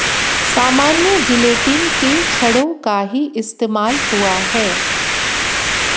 सामान्य जिलेटीन के छड़ों का ही इस्तेमाल हुआ है